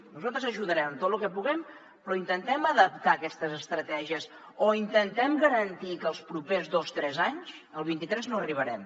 nosaltres ajudarem en tot lo que puguem però intentem adaptar aquestes estratègies o intentem garantir que els propers dos tres anys el vint tres arribarem